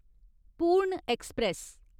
पूर्ण ऐक्सप्रैस